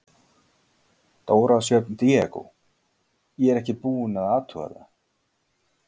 Dóra Sjöfn Diego: Ég er ekkert búin að athuga það?